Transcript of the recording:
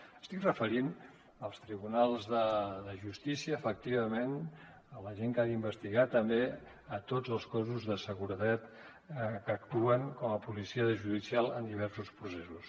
m’estic referint als tribunals de justícia efectivament a la gent que ha d’investigar també tots els cossos de seguretat que actuen com a policia judicial en diversos processos